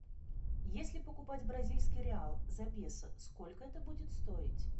если покупать бразильский реал за песо сколько это будет стоить